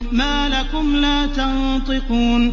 مَا لَكُمْ لَا تَنطِقُونَ